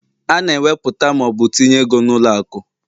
A na eweputa ma ọ bụ tinye ego n'ụlọ akụ